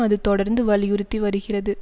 அது தொடர்ந்து வலியுறுத்தி வருகிறது